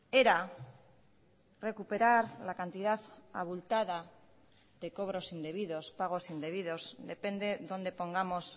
era recuperar la cantidad abultada de cobros indebidos pagos indebidos depende dónde pongamos